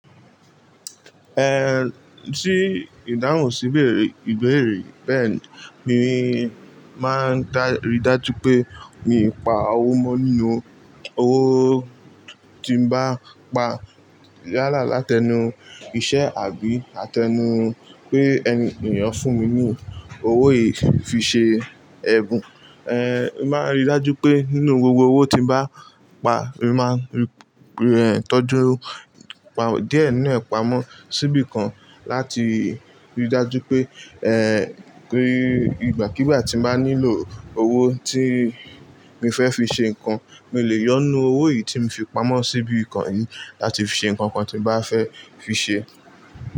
Eh, tí ìdáhùn síbéèrè, ìbérè yi. Bẹ́ẹ̀ ni, mi máa ń rí dájú pé mi pa owó mọ́ nínú, owó tí n bá pa yálà láti ẹnu iṣẹ́ àbí àtẹnu pé ẹni, ènìyàn fún mi ní owó yìí fi ṣe ẹ̀bùn. Ehn, mo máa ń rí dájú pé nínú gbogbo owó tí mo bá pa, mo máa n tọ́jú pá, díẹ̀ nínú ẹ̀ pamọ́ síbi kan láti rí dájú pé eh, pé ìgbà kí ìgbà tí mo bá nílò owó tí mo fẹ́ fi ṣe nǹkan, mo lè yọ nu owó yìí tí mo fi pamọ́ síbi kàn láti fi ṣe nǹkan kan tí mo bá fẹ́ fi ṣe.